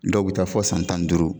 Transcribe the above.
Dɔw bɛ taa fɔ san tan ni duuru